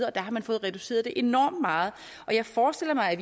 og der har man fået reduceret det enormt meget jeg forestiller mig at